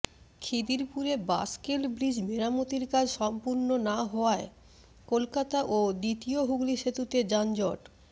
খিদিরপুরে bascule bridge মেরামতির কাজ সম্পূর্ণ না হওয়ায় কলকাতা ও দ্বিতীয় হুগলি সেতুতে যানজট